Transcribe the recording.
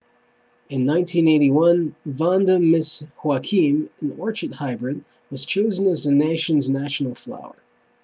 in 1981 vanda miss joaquim an orchid hybrid was chosen as the nation's national flower